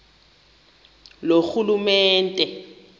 loorhulumente